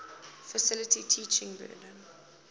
faculty's teaching burden